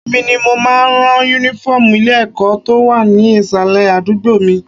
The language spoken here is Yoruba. Èmi ni mo máa ń ran Únífọ́ọ̀mù ilé-ẹ̀kọ́ tó wà ní ìsàlẹ̀ àdúgbò mi